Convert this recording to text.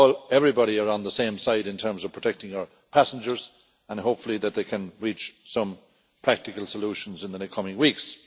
Everybody is on the same side in terms of protecting our passengers, and hopefully they can reach some practical solutions in the coming weeks.